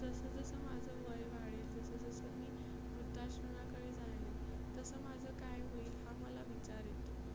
जसं जसं माझं वय वाढेल जसं जसं मी वृद्धाश्रमाकडे जाईल, तसं माझं काय होईल हा मला विचार येतो.